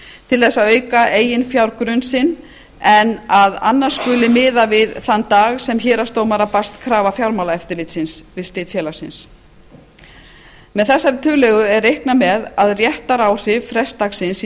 til þess að auka eiginfjárgrunn sinn en að annars skuli miða við þann dag sem héraðsdómara barst krafa fjármálaeftirlitsins við slit félagsins með þessari tillögu er reiknað með að réttaráhrif frestdagsins í